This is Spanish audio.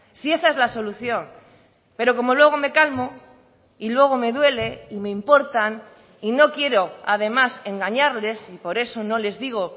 si esa es la solución pero como luego me calmo y luego me duele y me importan y no quiero además engañarles y por eso no les digo